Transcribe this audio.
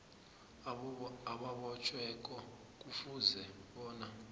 obotjhiweko kufuze bona